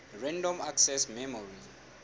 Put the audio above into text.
random access memory